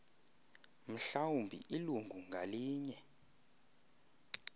mhlawumbi ilungu ngalinye